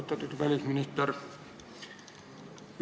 Austatud välisminister!